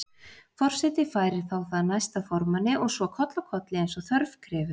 Forseti færir það þá næsta formanni og svo koll af kolli eins og þörf krefur.